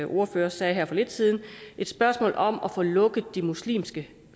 ordfører sagde her for lidt siden et spørgsmål om at få lukket de muslimske